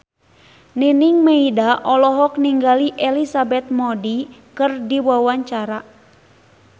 Nining Meida olohok ningali Elizabeth Moody keur diwawancara